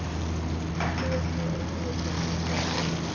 Þú ert með augu sem enginn treystir.